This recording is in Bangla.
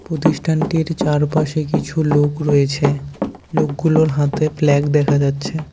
প্রতিষ্ঠানটির চারপাশে কিছু লোক রয়েছে লোকগুলোর হাতে ফ্ল্যাগ দেখা যাচ্ছে।